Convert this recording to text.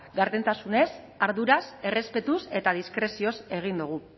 gardentasunez arduraz errespetuz eta diskrezioz egin dugu